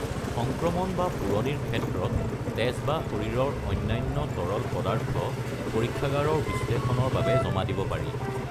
সংক্ৰমণ বা পোৰণিৰ ক্ষেত্ৰত, তেজ বা শৰীৰৰ অন্যান্য তৰল পদাৰ্থ পৰীক্ষাগাৰৰ বিশ্লেষণৰ বাবে জমা দিব পাৰি।